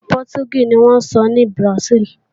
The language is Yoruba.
Èdè Pọtugí ni wọ́n ń sọ ní Bùràsíìlì